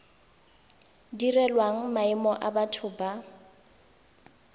direlwang maemo a batho ba